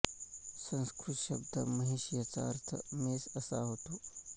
संस्कृत शब्द महिष याचा अर्थ म्हैस असा होतो